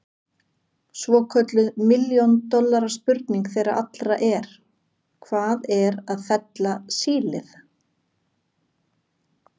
Svokölluð milljón dollara spurning þeirra allra er: Hvað er að fella sílið?